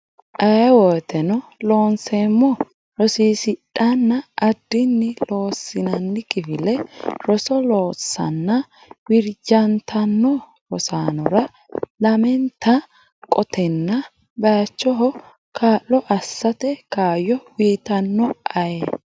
Aye woteno Loonseemmo rosiisidhanna addinni Loossinanni kifile roso loossanna wirrijjantanno rosaanora lamenta qotanna baychoho kaa lo assate kaayyo uytanno Aye.